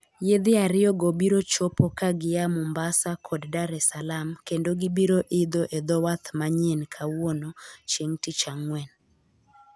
Yiedhi ariyogo biro chopo ka gia Mombasa kod Dar-es-Salaam kendo gibiro idho e dho wath manyien kawuono (Chieng' Tich Ang'wen).